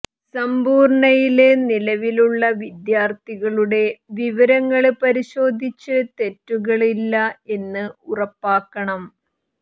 സമ്പൂര്ണ്ണയില് നിലവിലുള്ള വിദ്യാര്ത്ഥികളുടെ വിവരങ്ങള് പരിശോധിച്ച് തെറ്റുകള് ഇല്ല എന്ന് ഉറപ്പാക്കണം